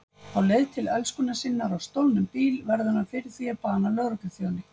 Á leið til elskunnar sinnar á stolnum bíl verður hann fyrir því að bana lögregluþjóni.